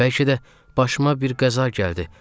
Bəlkə də başıma bir qəza gəldi.